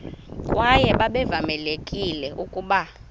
kwaye babevamelekile ukuba